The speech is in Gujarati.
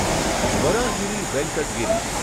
વરાહગીરી વેંકટ ગિરી